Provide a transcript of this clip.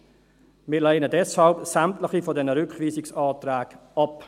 Wir lehnen deshalb sämtliche Rückweisungsanträge ab.